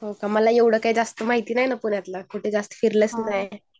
मला एवढं माहिती नाही ना पुण्यातील कुठे जास्त फिरले पण नाही